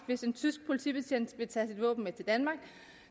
hvis en tysk politibetjent vil tage sit våben med til danmark